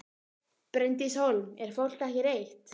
Bryndís Hólm: Er fólk ekki reitt?